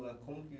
Como que...